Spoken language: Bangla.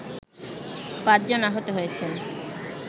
৫ জন আহত হয়েছেন